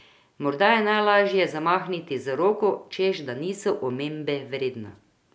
Morda je najlažje zamahniti z roko, češ da niso omembe vredna.